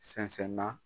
Sɛnsɛn na